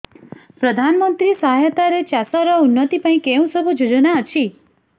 ପ୍ରଧାନମନ୍ତ୍ରୀ ସହାୟତା ରେ ଚାଷ ର ଉନ୍ନତି ପାଇଁ କେଉଁ ସବୁ ଯୋଜନା ଅଛି